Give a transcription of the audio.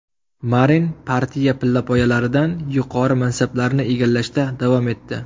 Marin partiya pillapoyalaridan yuqori mansablarni egallashda davom etdi.